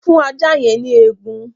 Fún ajá yẹn ní egun!